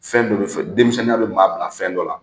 Fɛn dɔ bɛ dɔ denmisɛnninya bɛ maa bila fɛn dɔ la